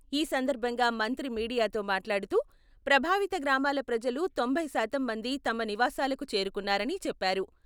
ఈ సందర్భంగా మంత్రి మీడియాతో మాట్లాడుతూ, ప్రభావిత గ్రామాల ప్రజలు తొంభై శాతం మంది తమ నివాసాలకు చేరుకున్నారని చెప్పారు.